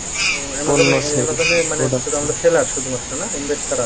seller শুধুমাত্র না invest ছাড়া